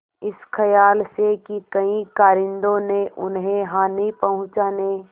इस खयाल से कि कहीं कारिंदों ने उन्हें हानि पहुँचाने